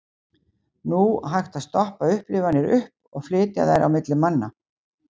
Nú hægt að stoppa upplifanir upp og flytja þær á milli manna.